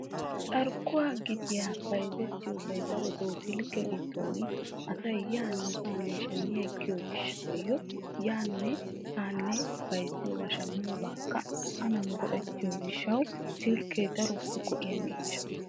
carkkuwa gitiya bayzzetiyoosa daroto osilkke giddon asay yaanne hanne shammi ekkiyo gishshaw yaanne haanne bayzziyooba shammiyoobakka adan go''ettiyo gishshaw silkke daro go''iya miishsha.